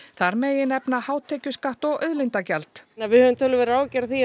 þar megi nefna hátekjuskatt og auðlindagjald við höfum töluverðar áhyggjur af því